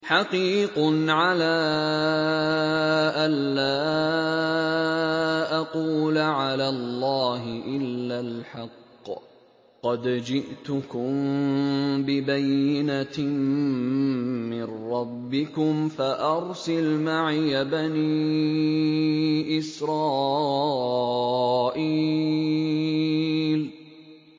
حَقِيقٌ عَلَىٰ أَن لَّا أَقُولَ عَلَى اللَّهِ إِلَّا الْحَقَّ ۚ قَدْ جِئْتُكُم بِبَيِّنَةٍ مِّن رَّبِّكُمْ فَأَرْسِلْ مَعِيَ بَنِي إِسْرَائِيلَ